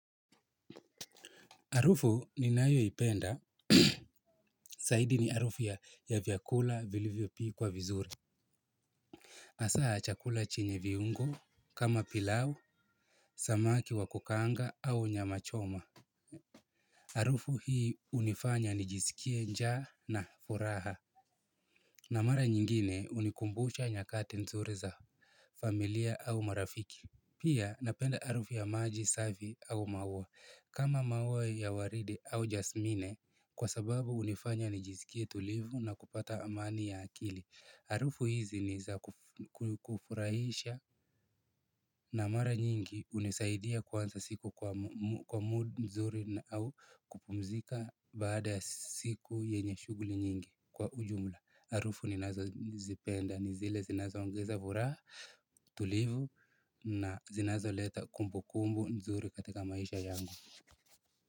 Arufu ninayo ipenda, saidi ni arufu ya ya vyakula vilivyo pikwa vizuri. Asaa ya chakula chenye viungo kama pilau, samaki wa kukaanga au nyama choma. Arufu hii unifanya nijisikie njaa na furaha. Na mara nyingine unikumbucha nyakati nzuri za familia au marafiki. Pia napenda arufu ya maji, safi au maua. Kama maua ya waridi au jasmine, kwa sababu unifanya nijisikie tulivu na kupata amani ya akili. Arufu hizi ni za kufurahisha na mara nyingi unisaidia kuwanza siku kwa mood nzuri au kupumzika baada ya siku yenye shuguli nyingi kwa ujumla. Arufu ninazo nizipenda ni zile zinazo ongeza vuraha tulivu na zinazo leta kumbu kumbu nzuri katika maisha yangu.